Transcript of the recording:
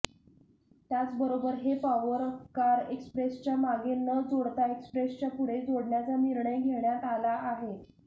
त्याचबरोबर हे power car एक्सप्रेसच्या मागे न जोडता एक्सप्रेसच्या पुढे जोडण्याचा निर्णय घेण्यात आला आहे